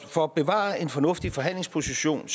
for at bevare en fornuftig forhandlingsposition